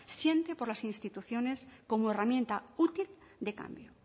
siente por las instituciones como herramienta útil de cambio